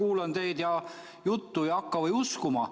Ma kuulan teie juttu ja hakka või uskuma.